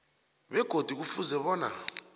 begodu kufuze bona